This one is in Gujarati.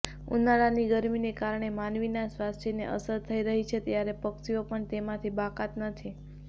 ઉનાળાની ગરમીને કારણે માનવીના સ્વાસ્થ્યને અસર થઇ રહી છે ત્યારે પક્ષીઓ પણ તેમાંથી બાકાત નથી